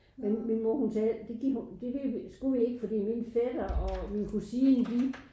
Men min mor hun sagde det gik det ville vi det skulle vi ikke fordi min fætter og min kusin de